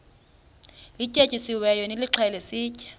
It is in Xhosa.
lityetyisiweyo nilixhele sitye